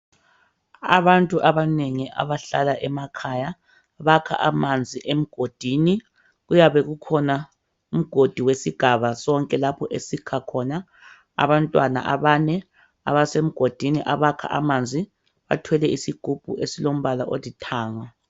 Abantu abanengi abahlala emakhaya bakha amanzi emgodini kuyabe kukhona umgodi wesigaba sonke lapho esikha khona, abantwana abane abasemgodini abakha amanzi bathwele isigubhu esilombala olithanga.